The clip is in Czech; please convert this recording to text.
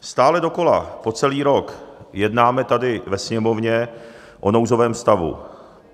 Stále dokola po celý rok jednáme tady ve Sněmovně o nouzovém stavu.